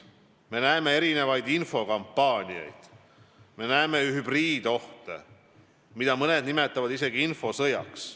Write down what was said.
Me näeme erinevaid infokampaaniaid, me näeme hübriidohte, mida mõned nimetavad isegi infosõjaks.